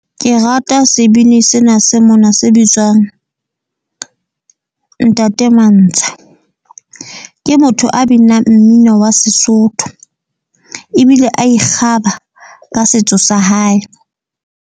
Ke rata sebini sena se mona se bitswang ntate Mantsha. Ke motho a binang mmino wa Sesotho ebile a ikgaba ka setso sa hae.